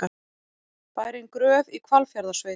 Bærinn Gröf í Hvalfjarðarsveit.